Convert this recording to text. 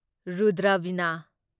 Rudra Veena